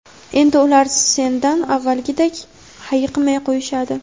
endi ular sendan avvalgidek hayiqmay qo‘yishadi.